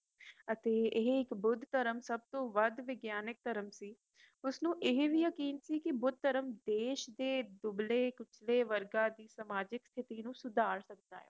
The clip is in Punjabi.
ਅਤੇ ਇਹ ਇਕ ਬੁੱਧ ਧਰਮ ਸਬਤੋਂ ਵਧ ਵਿਗਿਆਨਿਕ ਧਰਮ ਸੀ ਉਸਨੂੰ ਇਹ ਵੀ ਯਕੀਨ ਸੀ ਕਿ ਬੁੱਧ ਧਰਮ ਦੇਸ਼ ਦੇ ਦੁਗਲੇ ਪਿਛੜੇ ਵਰਗਾਂ ਦੀ ਸਮਾਜਿਕ ਸਥਿਤੀ ਨੂੰ ਸੁਧਾਰ ਸਕਦਾ ਏ